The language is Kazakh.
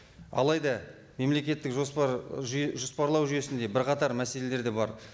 алайда мемлекеттік жоспар жоспарлау жүйесінде бірқатар мәселелер де бар